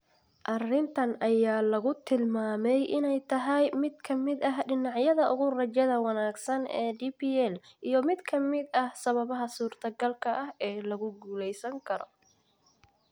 Arrintan ayaa lagu tilmaamay inay tahay mid ka mid ah dhinacyada ugu rajada wanaagsan ee DPL, iyo mid ka mid ah sababaha suurtagalka ah ee lagu guuleysan karo.